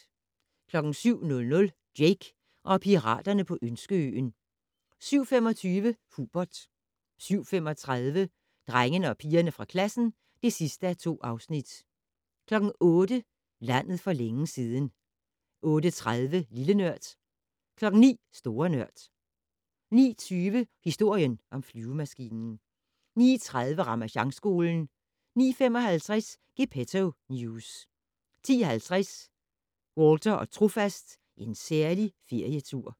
07:00: Jake og piraterne på Ønskeøen 07:25: Hubert 07:35: Drengene og pigerne fra klassen (2:2) 08:00: Landet for længe siden 08:30: Lille Nørd 09:00: Store Nørd 09:20: Historien om flyvemaskinen 09:30: Ramasjangskolen 09:55: Gepetto News 10:50: Walter og Trofast - En særlig ferietur